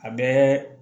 A bɛɛ